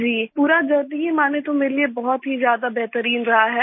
जी पूरा जर्नी ही माने तो मेरे लिए बहुत ही ज्यादा बेहतरीन रहा है